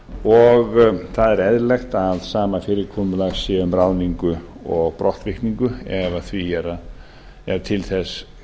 og það er eðlilegt að sama fyrirkomulag sé um ráðningu og brottvikningu ef til þess